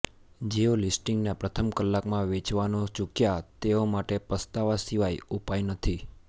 જેઓ લિસ્ટિંગના પ્રથમ કલાકમાં વેચવાનું ચૂક્યાં તેઓ માટે પસ્તાવા સિવાય ઉપાય નથી